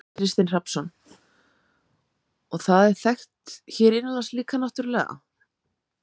Kristinn Hrafnsson: Og það er þekkt hér innanlands líka náttúrulega?